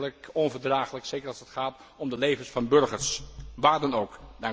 Dat is werkelijk onverdraaglijk, zeker als het gaat om de levens van burgers, waar dan ook.